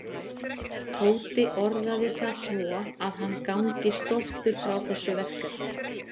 Tóti orðaði það svo að hann gangi stoltur frá þessu verkefni.